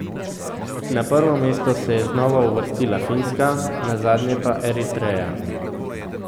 Na prvo mesto se je znova uvrstila Finska, na zadnje pa Eritreja.